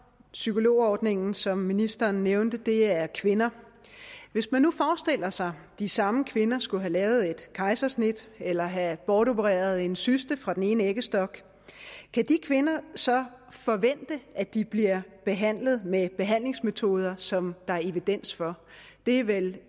psykologordningen som ministeren nævnte er kvinder hvis man nu forestiller sig at de samme kvinder skulle have lavet et kejsersnit eller have bortopereret en cyste fra den ene æggestok kan de kvinder så forvente at de bliver behandlet med behandlingsmetoder som der er evidens for det er vel